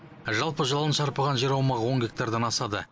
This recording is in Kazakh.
жалын шарпыған жер аумағы он гектардан асады